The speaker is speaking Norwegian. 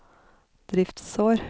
driftsår